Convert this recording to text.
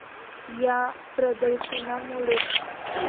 या प्रदर्शनामुळे.